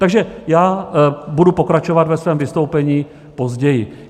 Takže já budu pokračovat ve svém vystoupení později.